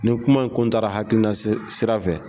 Ni kuma in kun taara hakilina sira fɛ